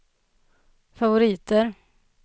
favoriter